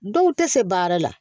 Dɔw tɛ se baara la